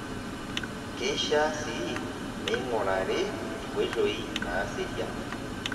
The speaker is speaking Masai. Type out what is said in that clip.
Keishaa sii neing'urari inkoitooi naaserian.